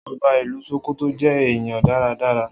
Oba ilú Ṣòkòtò je èèyàn dáradára.